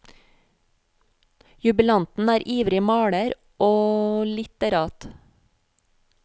Jubilanten er ivrig maler og litterat.